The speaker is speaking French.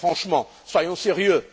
Franchement, soyons sérieux!